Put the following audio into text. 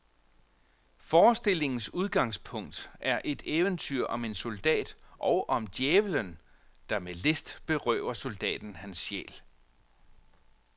Forestillingens udgangspunkt er et eventyr om en soldat, og om djævelen, der med list berøver soldaten hans sjæl.